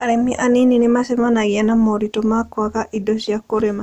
Arĩmi anini nĩ macemanagia na moritũ ma kwaga indo cia kũrĩma.